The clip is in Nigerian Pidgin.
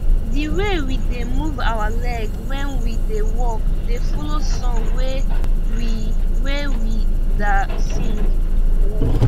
the way we da move our leg when we da work da follow song wey we wey we da sing